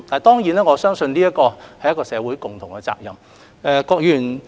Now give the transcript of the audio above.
當然，我相信這始終是社會的共同責任。